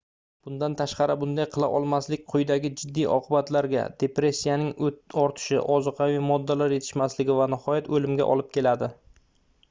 bundan tashqari bunday qila olmaslik quyidagi jiddiy oqibatlarga depressiyaning ortishi ozuqaviy moddalar yetishmasligi va nihoyat oʻlimga olib keladi